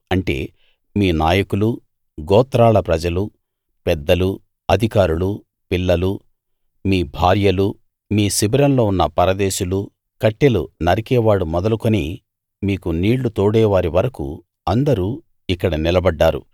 అంటే మీ నాయకులూ గోత్రాల ప్రజలూ పెద్దలూ అధికారులూ పిల్లలూ మీ భార్యలూ మీ శిబిరంలో ఉన్న పరదేశులూ కట్టెలు నరికేవాడు మొదలుకుని మీకు నీళ్లు తోడేవారి వరకూ అందరూ ఇక్కడ నిలబడ్డారు